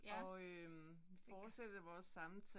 Ja vi kan